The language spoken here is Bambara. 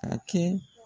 Ka kɛ